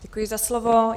Děkuji za slovo.